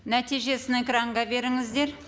нәтижесін экранға беріңіздер